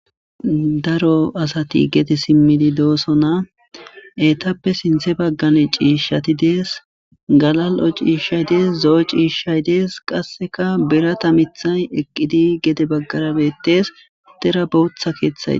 Daro asati gete simmidi doosona etappe sinthe baggane ciishshati dees galal'o ciishshay dees zo'o ciishshay dees qasseka bera tamithay eqqidi gede baggarabetees dera bowotha keeththaye.